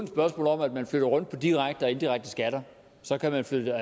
spørgsmål om at man flytter rundt på direkte og indirekte skatter så kan man flytte